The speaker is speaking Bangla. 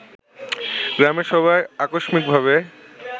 গ্রামের সবাই আকস্মিকভাবে